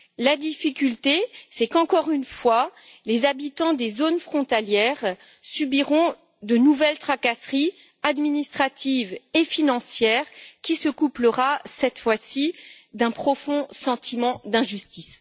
La difficulté est qu'encore une fois, les habitants des zones frontalières subiront de nouvelles tracasseries administratives et financières qui se doubleront, cette fois-ci, d'un profond sentiment d'injustice.